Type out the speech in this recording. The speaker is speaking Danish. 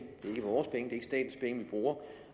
bruger